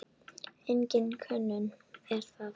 Engin könnun er það.